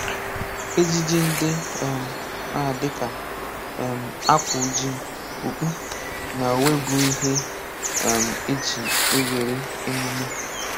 Ejiji ndị um a dịka um akwa ojii, okpu, na uwe bụ ihe um eji ewere emume